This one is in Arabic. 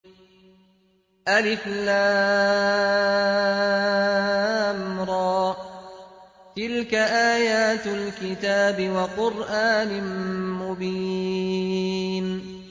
الر ۚ تِلْكَ آيَاتُ الْكِتَابِ وَقُرْآنٍ مُّبِينٍ